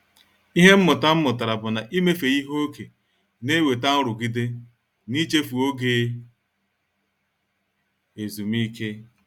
Ịhe mmụta m mụtara bụ na- ịmefe ike ókè na-enweta nrụgide na-ichefu oge ezumike.